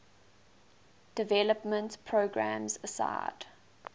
development programs aside